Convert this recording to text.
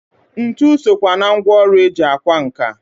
Ntụ sokwa na ngwọrụ eji akwa nka.